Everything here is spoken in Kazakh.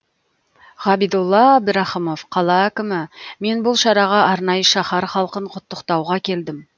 ғабидолла әбдірахымов қала әкімі мен бұл шараға арнайы шаһар халқын құттықтауға келдім